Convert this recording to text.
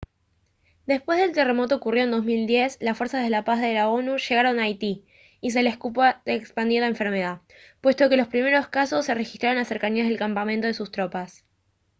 después del terremoto ocurrido en 2010 las fuerzas de paz de la onu llegaron a haití y se les culpa de expandir la enfermedad puesto que los primeros casos se registraron en las cercanías del campamento de sus tropas